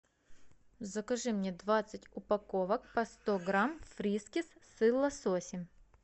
закажи мне двадцать упаковок по сто грамм фрискис с лососем